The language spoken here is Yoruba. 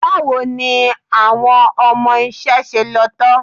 Báwo ni àwọn ọmọ iṣẹ́ ṣe lọ tán?